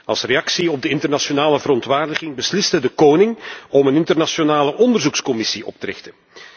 Als reactie op de internationale verontwaardiging besliste de koning om een internationale onderzoekscommissie op te richten.